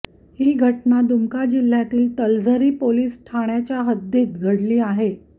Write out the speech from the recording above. हि घटना दुमका जिल्ह्यातील तलझरी पोलीस ठाण्याच्या हद्दीत ही घटना घडली आहे